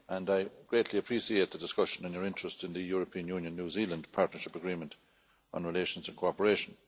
I greatly appreciate the discussion and your interest in the European Union New Zealand Partnership Agreement on Relations and Cooperation.